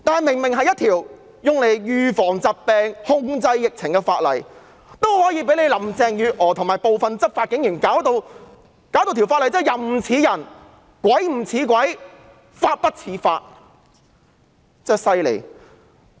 明明是用作預防疫病、控制疫情的法例，林鄭月娥和部分執法警員卻將之變得"人不人，鬼不鬼，法不法"，真的很厲害。